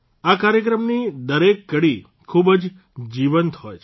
આ કાર્યક્રમની દરેક કડી ખૂબ જ જીવંત હોય છે